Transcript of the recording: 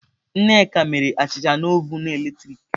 Nneka mere achicha na ovun eletrik.